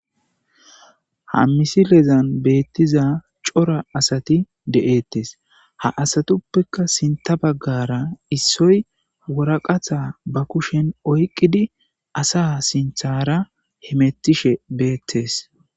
ha misilezan beettiza cora asati de'eettes ha asatuppekka sinta baggara issoy woraqata ba kushen oyqqidi asa sinthara himettishe beettes